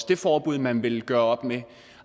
det forbud man vil gøre op med